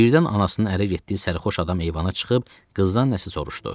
Birdən anasının ərə getdiyi sərxoş adam eyvana çıxıb qızdan nəsə soruşdu.